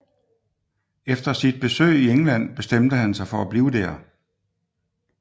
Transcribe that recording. Efter sit besøg i England bestemte han sig for at blive der